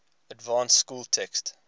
advanced school text